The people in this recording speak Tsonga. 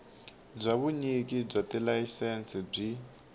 bya vunyiki bya tilayisense byi